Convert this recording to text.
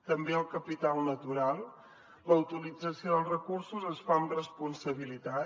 també el capital natural la utilització dels recursos es fa amb responsabilitat